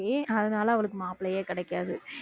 அதனால அவளுக்கு மாப்பிள்ளையே கிடைக்காது